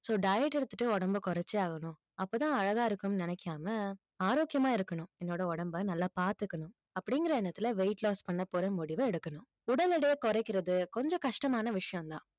so diet எடுத்துட்டு உடம்பை குறைச்சே ஆகணும் அப்பதான் அழகா இருக்கும்னு நினைக்காம ஆரோக்கியமா இருக்கணும் என்னோட உடம்பை நல்லா பாத்துக்கணும் அப்படிங்கிற எண்ணத்துல weight loss பண்ணப்போற முடிவை எடுக்கணும் உடல் எடையை குறைக்கிறது கொஞ்சம் கஷ்டமான விஷயம்தான்